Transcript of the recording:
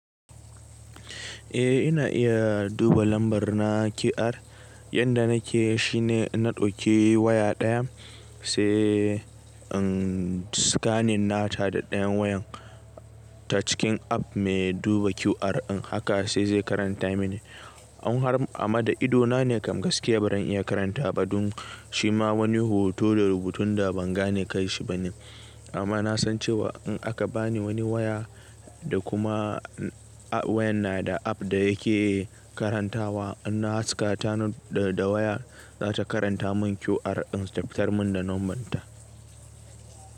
Eh ina iya duba lambar na QR. Yadda nake shi ne na ɗauki waya ɗaya sai an scanin nata da ɗayan wayan ta cikin app mai duba QR in haka sai zai karanta mini. Amma da idona ne kam gaske ba zan iya karanta ba, dun shima wani hoto da rubutun da ban gane kai shi bane. Amma na san cewa in aka bani wani waya da kuma wayan na da app da yake karantawa, in na haska tanon da wayan za ta karanta mun QR insu da fitar mun da nombarta.